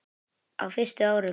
Á fyrstu árum